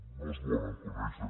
no els volen conèixer